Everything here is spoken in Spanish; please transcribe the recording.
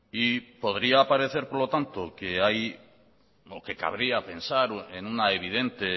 y podría parecer por lo tanto que hay o que cabría pensar en una evidente